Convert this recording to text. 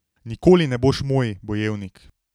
Nikoli ne boš moj, bojevnik.